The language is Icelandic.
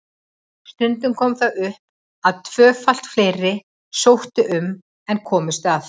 Stundum kom það upp að tvöfalt fleiri sóttu um en komust að.